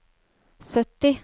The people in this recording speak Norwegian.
sytti